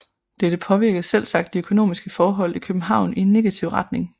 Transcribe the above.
Dette påvirkede selvsagt de økonomiske forhold i København i en negativ retning